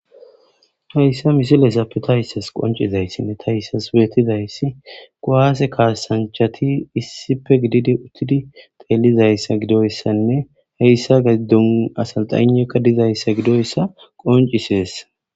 hayssa misilezapp tayssas qoncizayssa ne ta yssas beettizayssi goase kaasanchati issife gididi uttidi xeelizayssa gidoyssanne hayssa gaddun asalxanekka dizayssa gidoyssa qoncisees